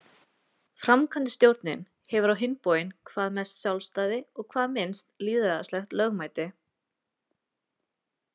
Framkvæmdastjórnin hefur á hinn bóginn hvað mest sjálfstæði og hvað minnst lýðræðislegt lögmæti.